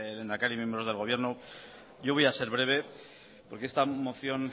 lehendakari y miembros del gobierno yo voy a ser breve porque esta moción